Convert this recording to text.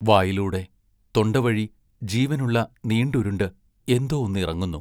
വായിലൂടെ തൊണ്ടവഴി ജീവനുള്ള നീണ്ടുരുണ്ട് എന്തോ ഒന്ന് ഇറങ്ങുന്നു.